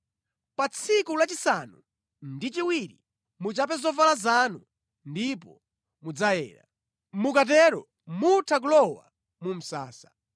Pa tsiku lachisanu ndi chiwiri muchape zovala zanu ndipo mudzayera. Mukatero mutha kulowa mu msasa.”